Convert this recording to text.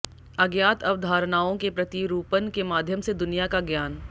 अज्ञात अवधारणाओं के प्रतिरूपण के माध्यम से दुनिया का ज्ञान